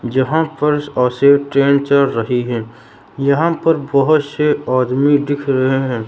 जहां ट्रेन चल रही है यहां पर बहोत से आदमी दिख रहे हैं।